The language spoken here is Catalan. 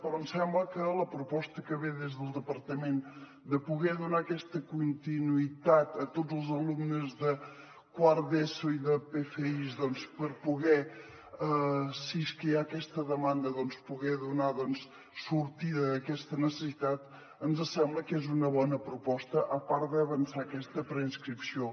però em sembla que la proposta que ve des del departament de poder donar aquesta continuïtat a tots els alumnes de quart d’eso i de pfis per poder si és que hi ha aquesta demanda donar sortida a aquesta necessitat ens sembla que és una bona proposta a part d’avançar aquesta preinscripció